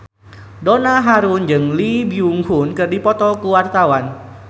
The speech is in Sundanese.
Donna Harun jeung Lee Byung Hun keur dipoto ku wartawan